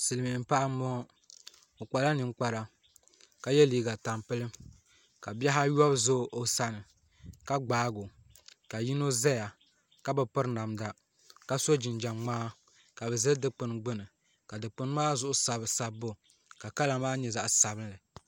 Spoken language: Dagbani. Silmiin paɣa n bɔŋɔ o kpala ninkpara ka yɛ liiga tampilim ka bihi ayobu ʒɛ o sani ka gbaago ka yino ʒɛya ka bi piri namda ka so jinjɛm ŋmaa ka bi ʒɛ dikpuni gbuni ka dikpuni maa zuɣu sabi sabbu ka di kala maa nyɛ zaɣ piɛla